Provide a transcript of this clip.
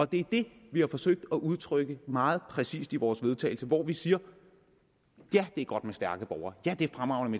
det er det vi har forsøgt at udtrykke meget præcist i vores vedtagelse hvor vi siger ja det er godt med stærke borgere ja det er fremragende